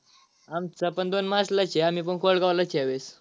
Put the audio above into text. आमचा पण दोन मार्च ला च आहे आम्ही पण कोळगाव ला च आहे या वेळेस.